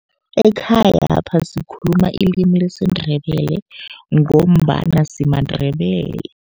Ekhayapha sikhuluma ilimi lesiNdebele, ngombana simaNdebele.